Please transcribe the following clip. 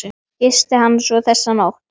Gisti hann svo þessa nótt?